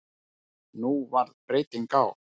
Nú varð breyting á.